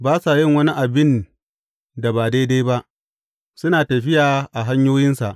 Ba sa yin wani abin da ba daidai ba; suna tafiya a hanyoyinsa.